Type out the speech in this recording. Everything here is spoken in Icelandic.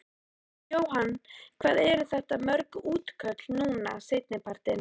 Jóhann: Hvað eru þetta mörg útköll núna seinni partinn?